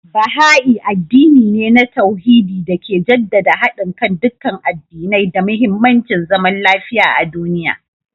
Baha'i addini ne na tauhidi da ke jaddada hadin kan dukkan addinai da muhimmancin zaman lafiya a duniya